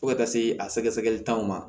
Fo ka taa se a sɛgɛsɛgɛli t'anw ma